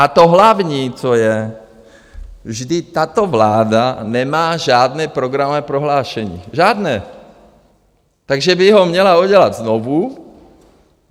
A to hlavní, co je: vždyť tato vláda nemá žádné programové prohlášení, žádné, takže by ho měla udělat znovu.